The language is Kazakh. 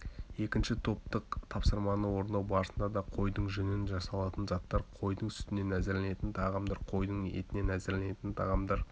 екінші топтық тапсырманы орындау барысында да қойдың жүнінен жасалатын заттар қойдың сүтінен әзірленетін тағамдар қойдың етінен әзірленетін тағамдар